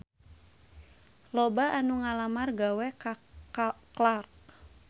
Loba anu ngalamar gawe ka Clarks